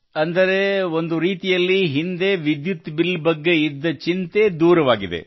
ಅಂದರೆ ಒಂದು ರೀತಿಯಲ್ಲಿ ಹಿಂದೆ ವಿದ್ಯುತ್ ಬಿಲ್ ಬಗ್ಗೆ ಇದ್ದ ಚಿಂತೆ ದೂರವಾಗಿದೆ